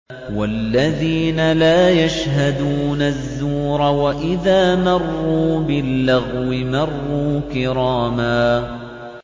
وَالَّذِينَ لَا يَشْهَدُونَ الزُّورَ وَإِذَا مَرُّوا بِاللَّغْوِ مَرُّوا كِرَامًا